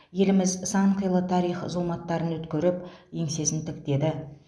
еліміз сан қилы тарих зұлматтарын өткеріп еңсесін тіктеді